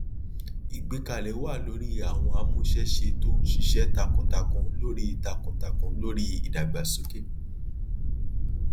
ìgbẹkẹlé wa lórí àwọn amuṣẹṣe tó ń ṣiṣẹ takuntakun lori takuntakun lori ìdàgbàsókè